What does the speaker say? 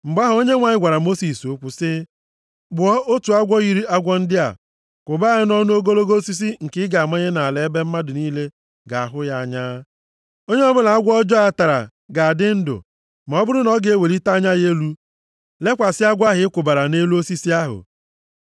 Mgbe ahụ, Onyenwe anyị gwara Mosis okwu sị ya, “Kpụọ otu agwọ yiri agwọ ndị a. Kwụba ya nʼọnụ ogologo osisi nke ị ga-amanye nʼala ebe mmadụ niile ga-ahụ ya anya. Onye ọbụla agwọ ọjọọ a tara ga-adị ndụ ma ọ bụrụ na ọ ga-ewelite anya ya elu lekwasị agwọ ahụ ị kwụbara nʼelu osisi ahụ.”